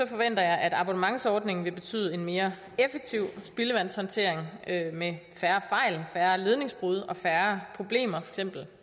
forventer jeg at abonnementsordningen vil betyde en mere effektiv spildevandshåndtering med færre fejl færre ledningsbrud færre problemer